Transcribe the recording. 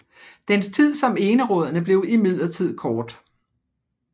Dens tid som enerådende blev imidlertid kort